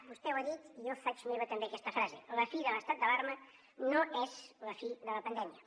vostè ho ha dit i jo faig meva també aquesta frase la fi de l’estat d’alarma no és la fi de la pandèmia